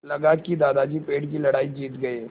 लगा कि दादाजी पेड़ की लड़ाई जीत गए